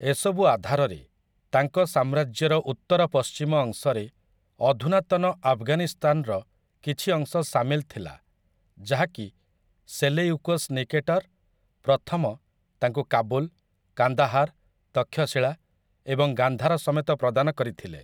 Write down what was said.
ଏସବୁ ଆଧାରରେ, ତାଙ୍କ ସାମ୍ରାଜ୍ୟର ଉତ୍ତର ପଶ୍ଚିମ ଅଂଶରେ ଅଧୁନାତନ ଆଫଗାନିସ୍ତାନର କିଛି ଅଂଶ ସାମିଲ ଥିଲା ଯାହାକି ସେଲେୟୁକସ୍ ନିକେଟର୍‌ ପ୍ରଥମ ତାଙ୍କୁ କାବୁଲ୍‌, କାନ୍ଦାହାର୍‌, ତକ୍ଷଶିଳା ଏବଂ ଗାନ୍ଧାର ସମେତ ପ୍ରଦାନ କରିଥିଲେ ।